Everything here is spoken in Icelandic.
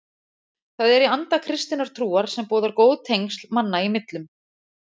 Það er í anda kristinnar trúar sem boðar góð tengsl manna í millum.